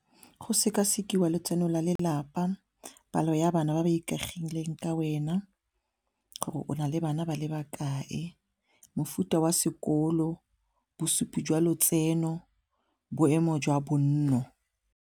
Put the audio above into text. Go sekasekiwa letseno la lelapa palo ya bana ba ba ikaegileng ka wena gore o na le bana ba le bakae, mofuta wa sekolo, bosupi jwa lotseno, boemo jwa bonno.